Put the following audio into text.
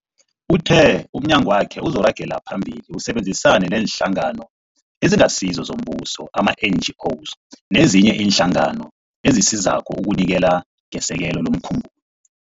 Uthe umnyagwakhe uzoragela phambili usebenzisane neeNhlangano eziNgasizo zoMbuso, ama-NGO, nezinye iinhlangano ezisizako ukunikela ngesekelo lomkhumbulo.